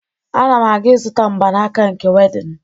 Ana m aga ịzụta mgbanaka nke wedịn